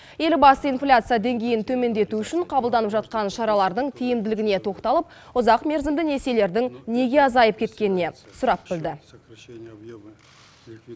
елбасы инфляция деңгейін төмендету үшін қабылданып жатқан шаралардың тиімділігіне тоқталып ұзақмерзімді несиелердің неге азайып кеткеніне сұрап білді